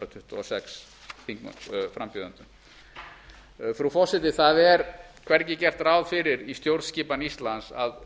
tuttugu og sex frú forseti það er hvergi gert ráð fyrir í stjórnskipan íslands að